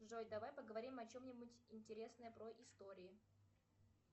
джой давай поговорим о чем нибудь интересное про истории